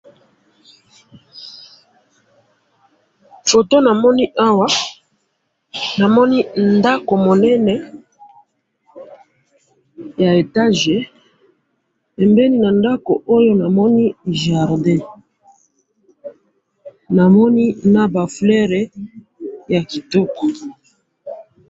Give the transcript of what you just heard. photo namoni awa, namoni ndako munene ya etage, pembeni na ndako oyo, namoni jardin, namoni naba fleurs ya kitoko